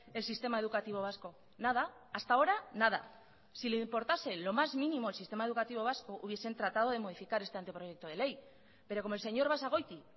el sistema educativo vasco nada hasta ahora nada si le importase lo más mínimo el sistema educativo vasco hubiesen tratado de modificar este anteproyecto de ley pero como el señor basagoiti